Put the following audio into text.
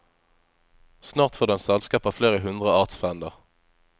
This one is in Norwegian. Snart får den selskap av flere hundre artsfrender.